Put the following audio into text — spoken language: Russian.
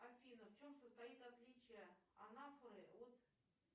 афина в чем состоит отличие анафоры от